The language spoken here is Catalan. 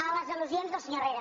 a les al·lusions del senyor herrera